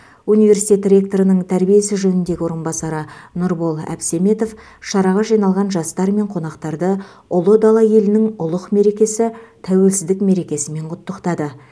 университет ректорының тәрбие ісі жөніндегі орынбасары нұрбол әбсеметов шараға жиналған жастар мен қонақтарды ұлы дала елінің ұлық мерекесі тәуелсіздік мерекесімен құттықтады